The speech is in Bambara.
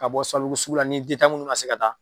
Ka bɔ SABALIBUGU sugu la ni minnu na se ka taa.